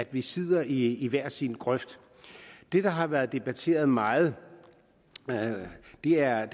vi sidder i hver sin grøft det der har været debatteret meget er